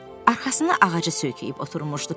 Vinni arxasına ağaca söykəyib oturmuşdu.